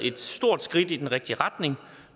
et stort skridt i den rigtige retning